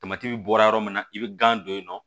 bɔra yɔrɔ min na i be gan don yen nɔ